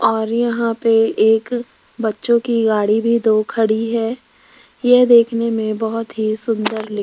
और यहां पे एक बच्चों की गाड़ी भी दो खड़ी है ये देखने मे बहोत ही सुंदर ली --